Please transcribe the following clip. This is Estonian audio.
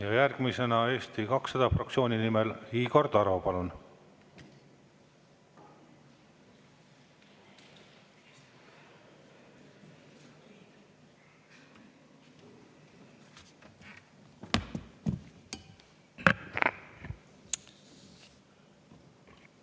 Ja järgmisena Eesti 200 fraktsiooni nimel Igor Taro, palun!